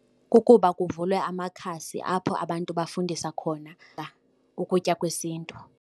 Kukuba kuvulwe amakhasi apho abantu bafundisa khona ukutya kwesiNtu.